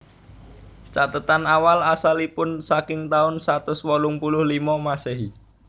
Cathetan awal asalipun saking taun satus wolung puluh limo Masehi